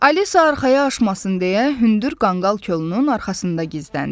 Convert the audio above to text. Alisa arxaya aşmasın deyə hündür qanqal kolunun arxasında gizləndi.